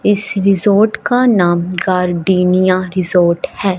इस रिसोर्ट का नाम का डिनिया रिसोर्ट है।